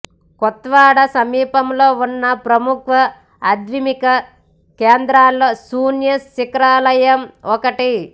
కొత్వాడా సమీపంలో ఉన్న ప్రముఖ అధ్యాత్మిక కేంద్రాలలో శూన్య శిఖరాలయం ఒకటి